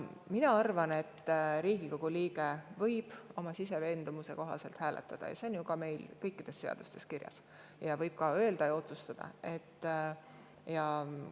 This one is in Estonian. Mina arvan, et Riigikogu liige võib hääletada oma siseveendumuse kohaselt – see on meil ju kõikides seadustes ka kirjas –, ja võib ka rääkides ja otsuseid.